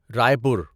رائے پور